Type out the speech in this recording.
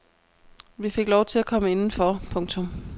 Vi fik lov til at komme indenfor. punktum